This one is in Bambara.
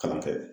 Kalan kɛ